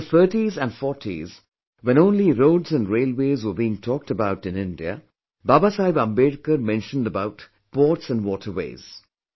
In the 30s and 40s when only roads and railways were being talked about in India, Baba Saheb Ambedkar mentioned about ports and waterways